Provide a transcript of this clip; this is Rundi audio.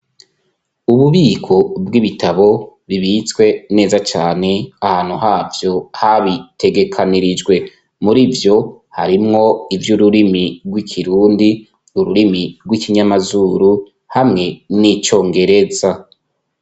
Ububiko bw'ibitabo bibitswe neza cane ahantu havyo habitegekanirijwe muri vyo harimwo ivy 'ururimi gw'ikirundi ururimi hw'ikinyamazuru hamwe n'icongereza.